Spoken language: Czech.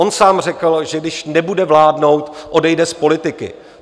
On sám řekl, že když nebude vládnout, odejde z politiky.